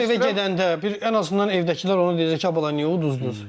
Adam evə gedəndə bir ən azından evdəkilər onu deyəcək ki, ay bala niyə uduzdunuz?